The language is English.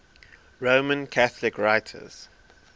roman catholic writers